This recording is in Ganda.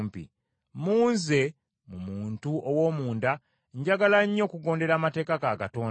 Mu nze mu muntu ow’omunda njagala nnyo okugondera amateeka ga Katonda.